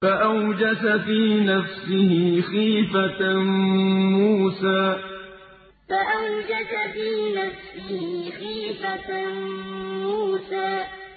فَأَوْجَسَ فِي نَفْسِهِ خِيفَةً مُّوسَىٰ فَأَوْجَسَ فِي نَفْسِهِ خِيفَةً مُّوسَىٰ